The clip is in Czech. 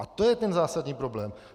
A to je ten zásadní problém!